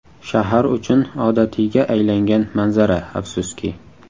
Shahar uchun odatiyga aylangan manzara, afsuski.